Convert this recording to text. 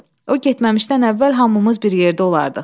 O getməmişdən əvvəl hamımız bir yerdə olardıq.